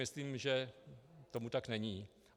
Myslím, že tomu tak není.